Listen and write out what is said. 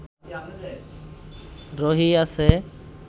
রহিয়াছে